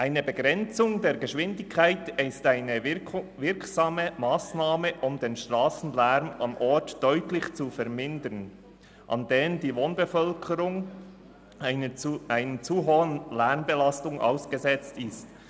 Eine Begrenzung der Geschwindigkeit ist eine wirksame Massnahme, um den Strassenlärm an einem Ort deutlich zu vermindern, an dem die Wohnbevölkerung einer zu hohen Lärmbelastung ausgesetzt ist.